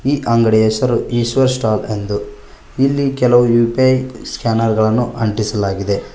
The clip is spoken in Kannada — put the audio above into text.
ಈ ಅಂಗಡಿ ಹೆಸರು ಈಶ್ವರ್ ಸ್ಟಾಲ್ ಎಂದು ಇಲ್ಲಿ ಕೆಲವು ಯು_ಪೇ ಸ್ಕ್ಯಾನರ್ ಗಳನ್ನು ಅಂಟಿಸಲಾಗಿದೆ.